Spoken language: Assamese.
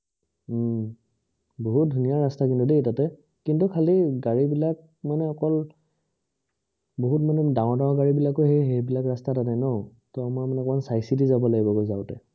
হম বহুত ধুনীয়া ৰাস্তা কিন্তু দেই তাতে। কিন্তু খালি গাড়ী বিলাক মানে অকল বহুত মানে ডাঙৰ ডাঙৰ গাড়ী বিলাকও এই বিলাক ৰাস্তাত আনে ন, ত আমাৰ মানে অকমান চাই চিটি যাব লাগিব মানে যাওঁতে